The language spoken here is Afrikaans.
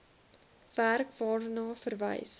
werk waarna verwys